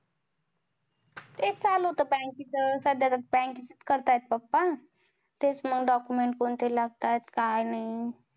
तेच चालू होत, bank चं. साधारण करतायेत papa तेच मंग document कोणते लागतंय, काय नाही.